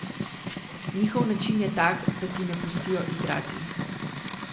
Njihov način je tak, da ti ne pustijo igrati.